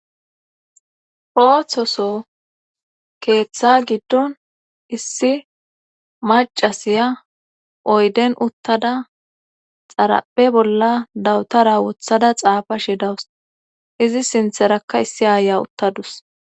ooththoso keeththa giddon issi macasiya oyden uttada xarape bolla dawutara wothada xaafa shi dawus izi sintherakka issi aaya uttadus